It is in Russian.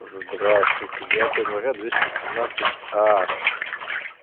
здравствуйте девятое января двести семнадцать а